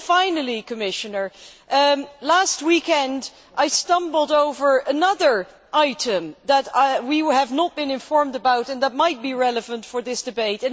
Finally, Commissioner, last weekend, I stumbled over another item that we have not been informed about and that might be relevant for this debate.